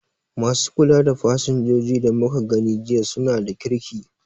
Ma su kula da fasinjoji da muka gani jiya su na da kirki